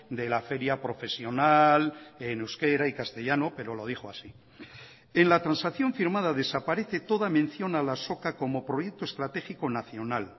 de la feria profesional en euskera y castellano pero lo dijo así en la transacción firmada desaparece toda mención a la azoka como proyecto estratégico nacional